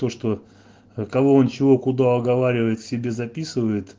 то что кого он чего куда оговаривает себе записывает